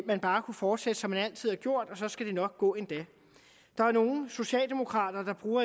man bare kunne fortsætte som man altid har gjort og så skal det nok gå endda der er nogle socialdemokrater der bruger